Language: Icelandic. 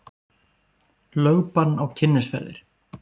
Lögbann á Kynnisferðir